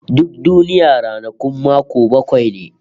Duk duniya ranakun mako bakwai ne